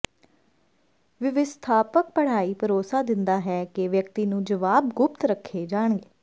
ਵਿਵਸਥਾਪਕ ਪੜ੍ਹਾਈ ਭਰੋਸਾ ਦਿੰਦਾ ਹੈ ਕਿ ਵਿਅਕਤੀ ਨੂੰ ਜਵਾਬ ਗੁਪਤ ਰੱਖੇ ਜਾਣਗੇ